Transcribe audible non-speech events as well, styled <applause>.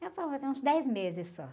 <unintelligible> fazer uns dez meses só.